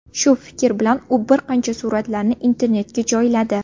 Shu fikr bilan u bir qancha suratlarni internetga joyladi.